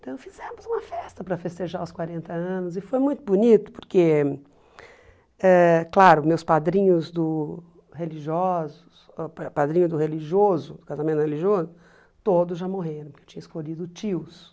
Então fizemos uma festa para festejar os quarenta anos e foi muito bonito porque, ãh claro, meus padrinhos do religiosos, ãh pa padrinhos do religioso, casamento religioso, todos já morreram, porque eu tinha escolhido tios.